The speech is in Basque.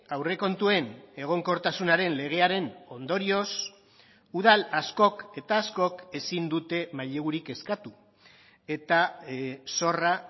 aurrekontuen egonkortasunaren legearen ondorioz udal askok eta askok ezin dute mailegurik eskatu eta zorra